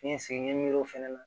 N ye segin n ye miiri o fɛnɛ na